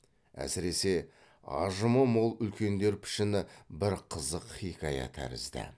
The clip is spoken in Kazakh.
әсіресе ажымы мол үлкендер пішіні бір қызық хиқая тәрізді